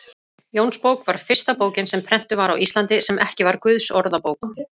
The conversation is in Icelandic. Jónsbók var fyrsta bókin sem prentuð var á Íslandi, sem ekki var Guðsorðabók.